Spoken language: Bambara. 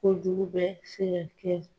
Kojugu bɛ sɛ ka kɛ.